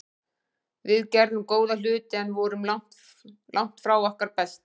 Við gerðum góða hluti en vorum langt frá okkar besta.